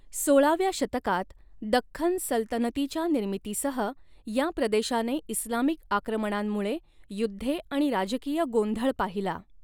सोळाव्या शतकात दख्खन सल्तनतीच्या निर्मितीसह या प्रदेशाने इस्लामिक आक्रमणांमुळे युद्धे आणि राजकीय गोंधळ पाहिला.